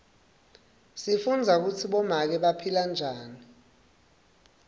sifundza kutsi bomake baphila njani